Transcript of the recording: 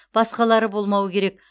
басқалары болмауы керек